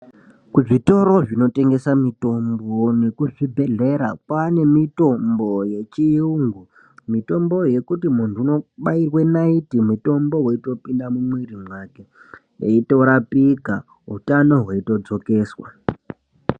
Kuzvitoro zvino tengeswa mitombo nekuzvi bhedhlera kwanemitombo yechiyungu mitombo yekuti muntu unobairwa naiti mutombo weitopinda mumwiri make eitorapika utano hwei todzokeswa.